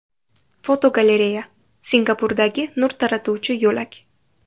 Fotogalereya: Singapurdagi nur taratuvchi yo‘lak.